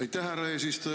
Aitäh, härra eesistuja!